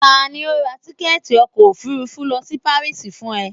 tani o ra tikẹti ọkọ ofúrúfú lo si Paris fún e?